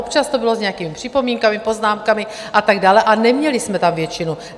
Občas to bylo s nějakými připomínkami, poznámkami a tak dále, a neměli jsme tam většinu.